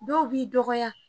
Dɔw b'i dɔgɔya